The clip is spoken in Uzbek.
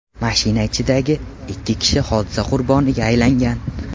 Mashina ichidagi ikki kishi hodisa qurboniga aylangan.